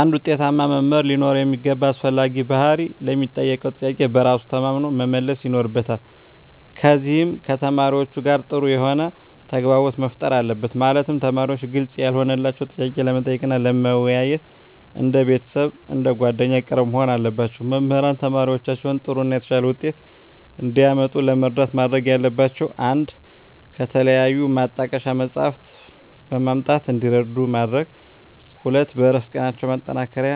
አንድ ውጤታማ መምህር ሊኖረው የሚገባ አስፈላጊ ባህሪ ለሚጠየቀው ጥያቄ በራሱ ተማምኖ መመለስ ይኖርበታል ከዚም ከተማሪዎቹ ጋር ጥሩ የሆነ ተግባቦት መፍጠር አለበት ማለትም ተማሪዎች ግልጽ ያልሆነላቸውን ጥያቄ ለመጠየቅ እና ለመወያየት እንደ ቤተሰብ አንደ ጓደኛ ቅርብ መሆን አለባቸው። መምህራን ተማሪዎቻቸውን ጥሩ እና የተሻለ ውጤት እንዲያመጡ ለመርዳት ማድረግ ያለባቸው 1 ከተለያዩ ማጣቀሻ መፅሃፍትን በማምጣት እንዲረዱ ማድረግ 2 በእረፍት ቀናቸው ማጠናከሪያ